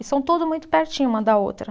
E são tudo muito pertinho uma da outra.